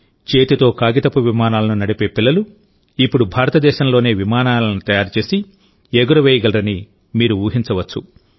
చేతితోకాగితపు విమానాలను నడిపే పిల్లలు ఇప్పుడు భారతదేశంలోనే విమానాలను తయారుచేసి ఎగురవేయగలరని మీరు ఊహించవచ్చు